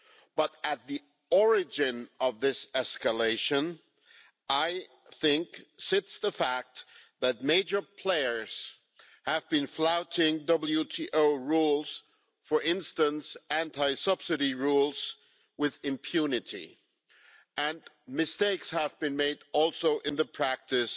But, at the origin of this escalation, I think, sits the fact that major players have been flouting WTO rules for instance, anti-subsidy rules with impunity and mistakes have also been made in the practice